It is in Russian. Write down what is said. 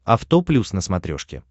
авто плюс на смотрешке